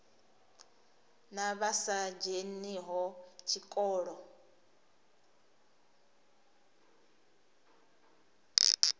na vha sa dzheniho tshikolo